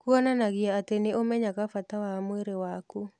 Kuonanagia atĩ nĩ ũmenyaga bata wa mwĩrĩ waku.